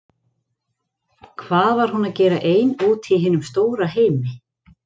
Hvað var hún að gera ein úti í hinum stóra heimi?